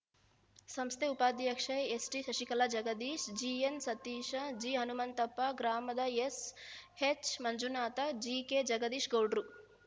ಸಂಸ್ಥೆ ಉಪಾಧ್ಯಕ್ಷೆ ಎಸ್‌ಟಿಶಶಿಕಲಾ ಜಗದೀಶ ಜಿಎನ್‌ಸತೀಶ ಜಿಹನುಮಂತಪ್ಪ ಗ್ರಾಮದ ಎಸ್‌ಎಚ್‌ಮಂಜುನಾಥ ಜಿಕೆಜಗದೀಶ ಗೌಡ್ರು